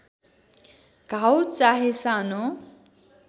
घाउ चाहे सानो